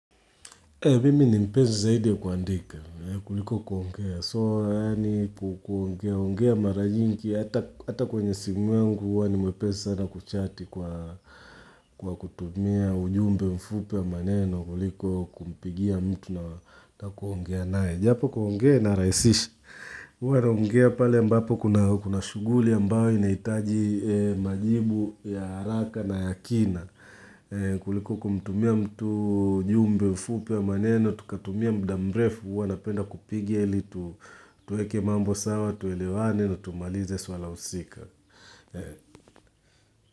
Mimi ni mpezi zaidi kuandika kuliko kuongea. So yani ku kuongea ongea mara nyingi hata ata kwenye simu yangu huwa ni mwepezi sana kuchati kwa kwa kutumia ujumbe mfupi wa maneno kuliko kumpigia mtu na na kuongea nae. Japo kuongea naraisisha. Hua naongea pale ambapo kuna kuna shuguli ambayo inaitaji majibu ya haraka na yakina. Kuliko kumtumia mtu ujumbe mfupi wa maneno Tukatumia mdamrefu uana penda kupigia ili tu Tueke mambo sawa, tuelewane na tumalize suala usika.